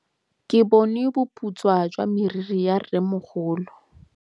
Ke bone boputswa jwa meriri ya rrêmogolo.